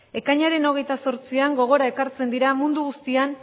ekainaren hogeita zortzian gogora ekartzen dira mundu guztian